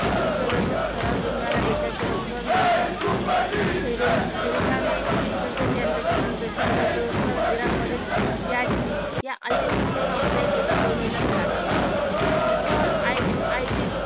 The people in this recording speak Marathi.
विश्वदर्शक ठराव जिंकणाऱ्या ब्रिटनचे थेरेसा मे तसेच यंदाचे शांततेचे नोबल पुरस्कार इराक मधील याझिदी या अल्पसंख्य सामुदायिक एका तरुणीला मिळाला जिच्यावर